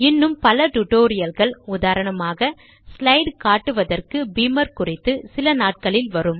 இன்னும் பல டுடோரியல்கள் உதாரணமாக ஸ்லைட் காட்டுவதற்கு பீமர் குறித்து சில நாட்களில் வரும்